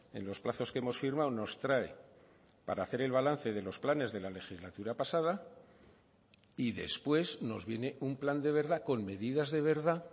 en los plazos que hemos firmado nos trae para hacer el balance de los planes de la legislatura pasada y después nos viene un plan de verdad con medidas de verdad